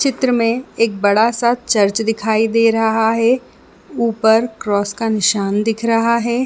चित्र में बड़ा सा चर्च दिखाई दे रहा है ऊपर क्रॉस का निशान दिख रहा है।